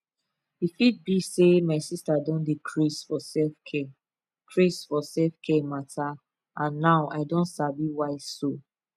e fit be say my sister don dey craze for selfcare craze for selfcare matter and now i don sabi why so